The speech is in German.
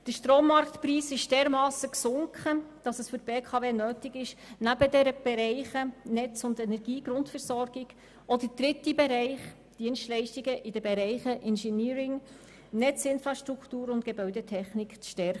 Der Strommarktpreis ist dermassen gesunken, dass es für die BKW nötig ist, neben den Bereichen der Netz- und Energiegrundversorgung auch die Bereiche Engeneering, Netzinfrastruktur und Gebäude zu stärken.